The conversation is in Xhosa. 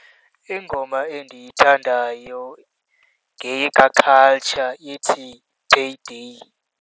Ingoma endiyithandayo ngeyikaCulture, ithi Payday.